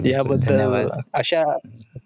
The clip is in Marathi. धन्यवाद